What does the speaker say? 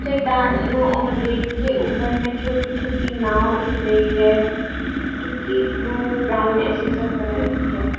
रेत के ऊपर में छोटी छोटी नाव दिख रही है जो की ब्लू ब्राउन ऐसे सब कलर की है।